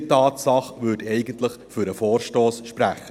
Diese Tatsache würde eigentlich für den Vorstoss sprechen;